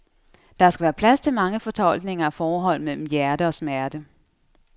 Der skal være plads til mange fortolkninger af forholdet mellem hjerte og smerte.